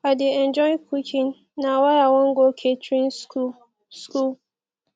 i dey enjoy cooking na why i wan go catering school school